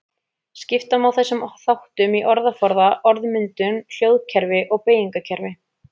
Skipta má þessum þáttum í orðaforða, orðmyndun, hljóðkerfi og beygingarkerfi.